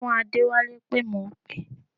Ṣọ fún Adẹ́wálé pé mò ń pè é